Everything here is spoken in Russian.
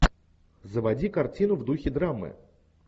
заводи картину в духе драмы